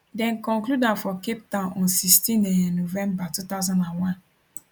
dem conclude am for cape town on 16 um november 2001